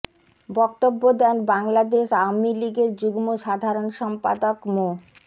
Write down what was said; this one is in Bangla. বক্তব্য দেন বাংলাদেশ আওয়ামী লীগের যুগ্ম সাধারণ সম্পাদক মো